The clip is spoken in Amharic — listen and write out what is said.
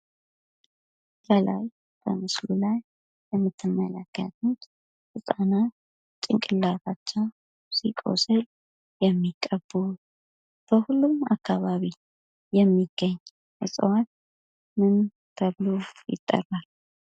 በምስሉ ላይ የምትመለከቱት ህጻናት አናታቸው ሲቆስል የሚቀቡት፤ በሁሉም አካባቢ የሚገኝ እጽዋት ምን ይባላል?